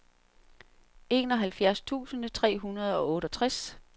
enoghalvfjerds tusind tre hundrede og otteogtres